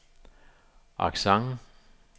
accent